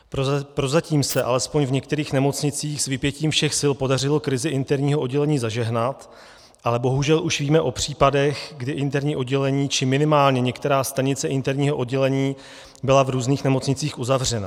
Prozatím se alespoň v některých nemocnicích s vypětím všech sil podařilo krizi interního oddělení zažehnat, ale bohužel už víme o případech, kdy interní oddělení či minimálně některá stanice interního oddělení byla v různých nemocnicích uzavřena.